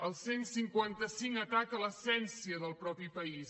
el cent i cinquanta cinc ataca l’essència del mateix país